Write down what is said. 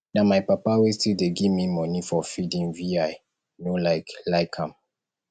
na my papa wey still dey give me money for feeding vi no like like am